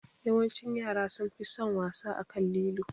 Yawancin yara sunfi son wasa akan lilo